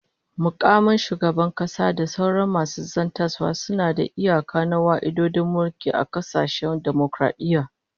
Mukaman shugaban kasa da sauran masu zartaswa suna da iyaka na wa'adin mulki a kasashen dimokaradiyya